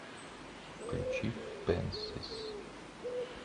включи пэнсис